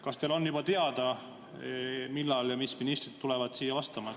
Kas teile on teada, millal ja mis ministrid siia vastama tulevad?